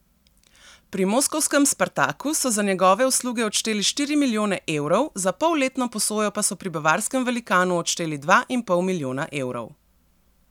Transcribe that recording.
Pri moskovskem Spartaku so za njegove usluge odšteli štiri milijone evrov, za polletno posojo pa so pri bavarskem velikanu odšteli dva in pol milijona evrov.